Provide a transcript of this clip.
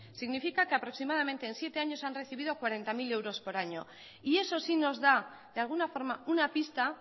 significa que aproximadamente en siete años han recibido cuarenta mil euros por año y eso sí nos da de alguna forma una pista